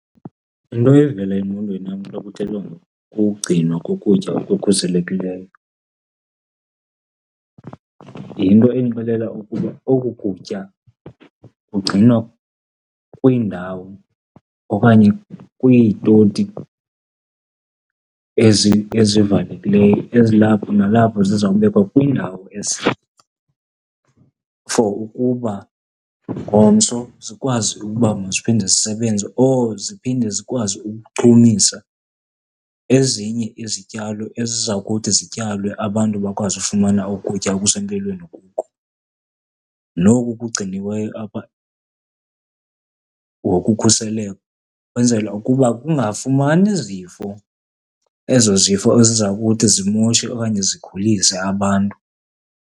Into evela engqondweni yam xa kuthethwa ngokugcinwa kokutya okukhuselekileyo yinto endixelela ukuba oku kutya kugcinwa kwiindawo okanye kwiitoti ezivalekileyo ezilapho, nalapho ziza kubekwa kwindawo for ukuba ngomso zikwazi ukuba maziphinde zisebenze or ziphinde zikwazi ukuchumisa ezinye izityalo eziza kuthi zityalwe abantu bakwazi ukufumana ukutya okusempilweni kuko. Noku kugciniweyo apha ngokukhuseleko kwenzelwa ukuba kungafumani zifo, ezo zifo eziza kuthi zimoshe okanye zigulise abantu.